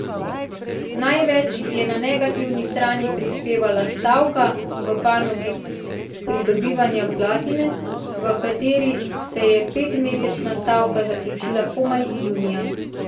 Največ je na negativni strani prispevala stavka v panogi pridobivanja platine, v katerem se je petmesečna stavka zaključila komaj junija.